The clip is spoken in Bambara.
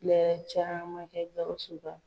Ne yɛrɛ ye caman kɛ Gawusu ka